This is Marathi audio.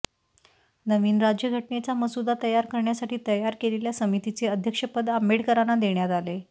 नवीन राज्यघटनेचा मसुदा तयार करण्यासाठी तयार केलेल्या समितीचे अध्यक्षपद आंबेडकरांना देण्यात आले